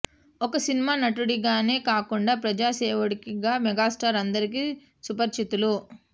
ఒక సినిమా నటుడిగానే కాకుండా ప్రజా సేవకుడిగా మెగాస్టార్ అందరికీ సుపరిచితులు